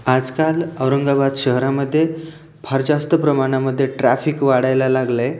आजकाल औरंगाबाद शहरामध्ये फार जास्त प्रमाणामध्ये ट्रॅफिक वाढायला लागलंय.